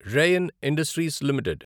rain Industries limited